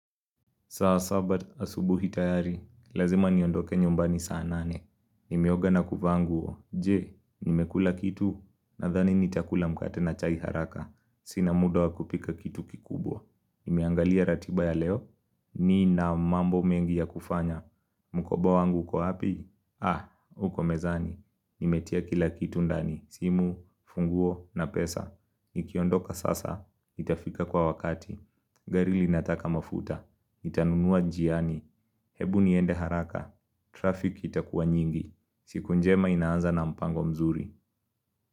Saa saba asubuhi tayari, lazima niondoke nyumbani saa nane. Nimeoga na kuvaa nguo, je, nimekula kitu, nadhani nitakula mkate na chai haraka. Sina muda wakupika kitu kikubwa. Nimeangalia ratiba ya leo, nina mambo mengi ya kufanya. Mkoba wangu uko wapi? Ah, huko mezani. Nimetia kila kitu ndani, simu, funguo, na pesa. Nikiondoka sasa, nitafika kwa wakati. Gari linataka mafuta. Nitanunua njiani Hebu niende haraka Traffic itakuwa nyingi siku njema inaanza na mpango mzuri.